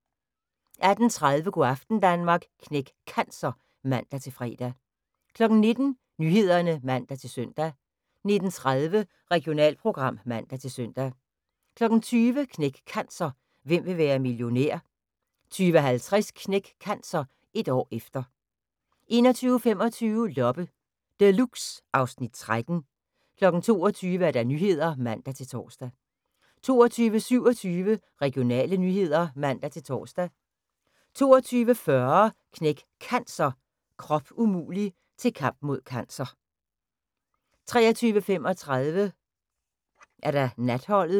18:30: Go' aften Danmark – Knæk Cancer (man-fre) 19:00: Nyhederne (man-søn) 19:30: Regionalprogram (man-søn) 20:00: Knæk Cancer: Hvem vil være millionær? 20:50: Knæk Cancer: Et år efter 21:25: Loppe Deluxe (Afs. 13) 22:00: Nyhederne (man-tor) 22:27: Regionale nyheder (man-tor) 22:40: Knæk Cancer: Krop umulig – til kamp mod cancer 23:35: Natholdet